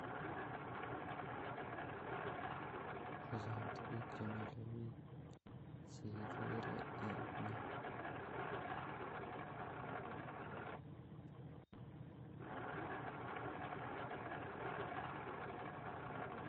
Ochon tuguk chemile biik cheikere en yu